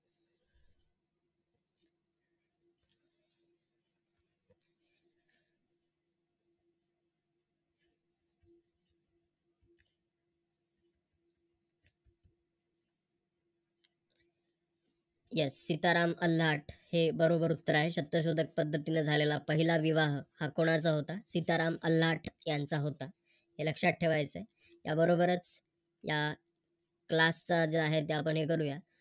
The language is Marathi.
Yes सीताराम अन्नाट हे बरोबर उत्तर आहे. सत्ताशोधक पद्धतीने झालेला पाहिला विवाह हा कोणाचा होता सीताराम अन्नाट यांचा होता हे लक्षात ठेवायच आहे त्या बरोबरच या CLASS चा जो आहे ते आपण करूया